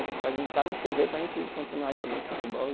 A gente fazia um para não chover, para a gente continuar jogando futebol e.